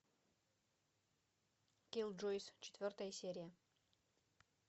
киллджойс четвертая серия